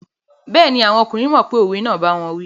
Bẹ́ẹ̀ni, àwọn ọkùnrin mọ̀ pé òwe náà n báwọn wí